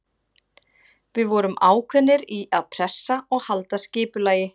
Við vorum ákveðnir í að pressa og halda skipulagi.